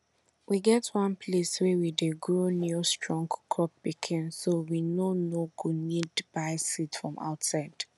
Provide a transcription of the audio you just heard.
we get one place wey we dey grow new strong crop pikin so we no no go need buy seed from outside